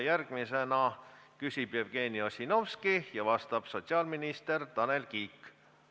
Järgmisena küsib Jevgeni Ossinovski ja vastab sotsiaalminister Tanel Kiik.